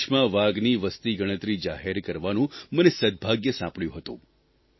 ગયા મહિને દેશમાં વાઘની વસતિગણતરી જાહેર કરવાનું મને સદભાગ્ય સાંપડ્યું હતું